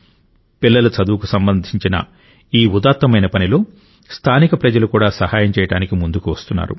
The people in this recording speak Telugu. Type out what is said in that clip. పిల్లల చదువుకు సంబంధించిన ఈ ఉదాత్తమైన పనిలో స్థానిక ప్రజలు కూడా సహాయం చేయడానికి ముందుకు వస్తున్నారు